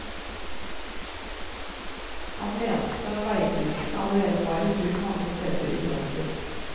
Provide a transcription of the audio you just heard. Han mente veiprising allerede var i bruk mange steder i praksis.